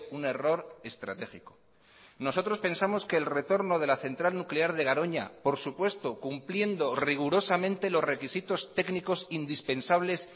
un error estratégico nosotros pensamos que el retorno de la central nuclear de garoña por supuesto cumpliendo rigurosamente los requisitos técnicos indispensables